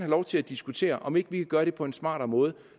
lov til at diskutere om vi ikke kan gøre det på en smartere måde